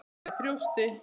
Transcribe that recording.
Með þjósti.